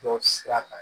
Dɔ sira kan